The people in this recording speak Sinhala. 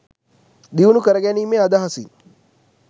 දියුණු කරගැනීමේ අදහසින්